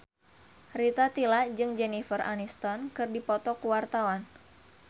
Rita Tila jeung Jennifer Aniston keur dipoto ku wartawan